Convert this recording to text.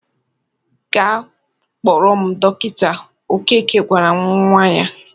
"Gaa kpọrọ m dọkịta," Okeke gwara nnwa ya.